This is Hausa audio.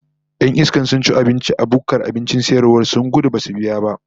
Yan iskan sun ci abinci a bukkar abincin sayarwa sun gudu Badu biya ba